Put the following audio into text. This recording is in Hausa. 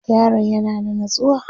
yaron ya na da natsuwa?